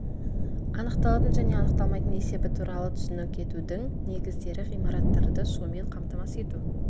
анықталатын және анықталмайтын есебі туралы түсінік етудің негіздері ғимараттарды сумен қамтамасыз ету